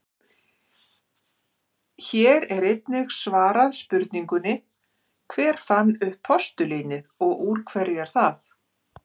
Hér er einnig svarað spurningunni: Hver fann upp postulínið og úr hverju er það?